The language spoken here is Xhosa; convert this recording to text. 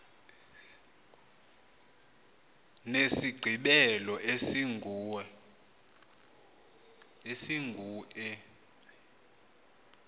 nesigqibelo esingu e